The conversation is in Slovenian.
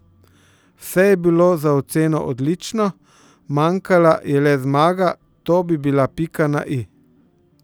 Vse je bilo za oceno odlično, manjkala je le zmaga, to bi bila pika na i.